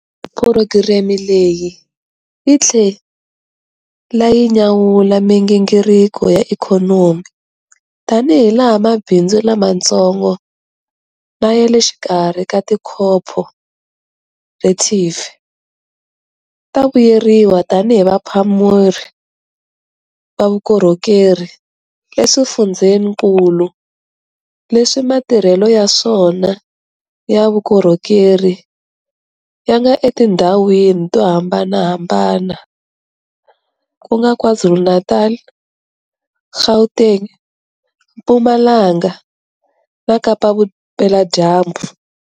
Phurogireme leyi yi tlhela yi nyanyula migingiriko ya ikhonomi tanihilaha mabindzu lamantsongo na ya le xikarhi na tikhophorethivhi ta vuyeriwa tanihi vaphameri va vukorhokeri eswifundzeninkulu leswi matirhelo ya swona ya vukorhokeri ya nga etindhawini to hambanahambana, ku nga KwaZulu-Natal, Gauteng, Mpumalanga na Kapa-Vupeladyambu.